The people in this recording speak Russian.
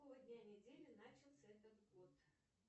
с какого дня недели начался этот год